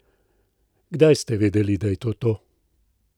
Kdaj ste vedeli, da je to to?